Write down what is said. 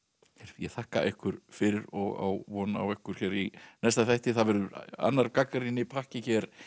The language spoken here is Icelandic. ég þakka ykkur fyrir og á von á ykkur í næsta þætti það verður annar gagnrýnipakki hér